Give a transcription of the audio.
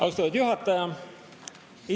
Austatud juhataja!